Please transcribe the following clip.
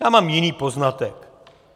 Já mám jiný poznatek.